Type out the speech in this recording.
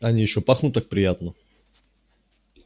они ещё пахнут так приятно